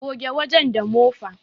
Goge wajen da mofa